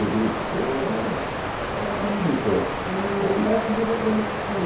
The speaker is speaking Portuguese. vendíamos... era um monte de coisa. É que... Era uma espécie de representação.